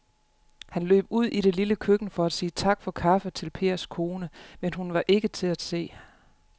Han løb ud i det lille køkken for at sige tak for kaffe til Pers kone, men hun var ikke til at se.